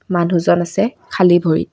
মানুহজন আছে খালী ভৰিত।